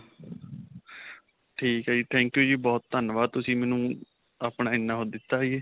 ਠੀਕ ਹੈ ਜੀ. thank you ਜੀ. ਬਹੁਤ ਧੰਨਵਾਦ. ਤੁਸੀਂ ਮੈਨੂੰ ਆਪਣਾ ਇਨ੍ਹਾ ਓਹ ਦਿੱਤਾ ਜੀ.